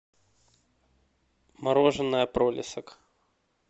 мороженое пролисок